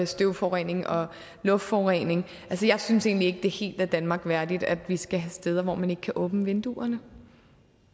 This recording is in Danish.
støvforurening og luftforurening jeg synes egentlig det helt er danmark værdigt at vi skal have steder hvor man ikke kan åbne vinduerne